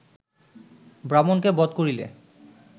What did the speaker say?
ব্রাহ্মণকে বধ করিলে